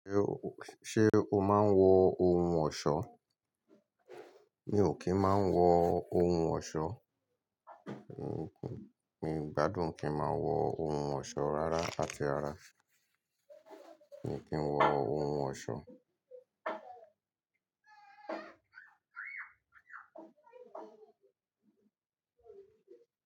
Ṣé ó máa ń wọ ohun ọ̀ṣọ́? Mi ò kí ń máa ń wọ ohun ọ̀ṣọ́. Mi gbádùn kí n máa wọ ohun ọ̀ṣọ́ rárá àti rara. Mi ò kí ń wọ ohun ọ̀ṣọ́.